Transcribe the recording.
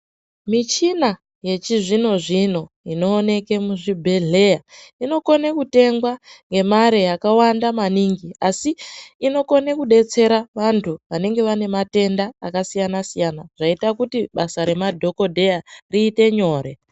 Michina yechizvino zvino inooneke muzvibhehleya inokone kutengwa ngemare yakawanda maningi asi inokone kudetsere vantu vanenga vane matenda akasiyana siyana zvaita kuti basa remadhokodheya riite nyore